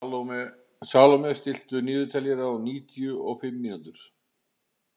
Salome, stilltu niðurteljara á níutíu og fimm mínútur.